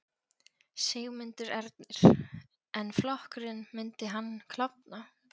Sigmundur Ernir: En flokkurinn, myndi hann klofna?